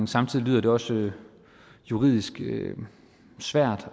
samtidig lyder det også juridisk svært